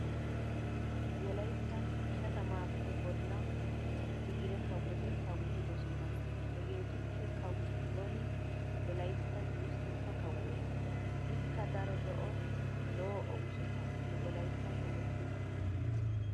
Wolayttan ishatamaappe bolla tigire kawoti kawotidosona hegeetuppe kawo Xooni wolayttan wurssetta kawuwa. Ikka daro lo'o lo'o oosota nu wolayttan oottis.